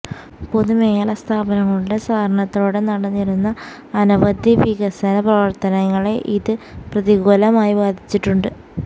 പൊതുമേഖലാ സ്ഥാപനങ്ങളുടെ സഹകരണത്തോടെ നടന്നിരുന്ന അനവധി വികസന പ്രവർത്തനങ്ങളെ ഇത് പ്രതികൂലമായി ബാധിച്ചിട്ടുണ്ട്